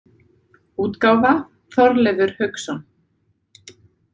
útgáfa Þorleifur Hauksson.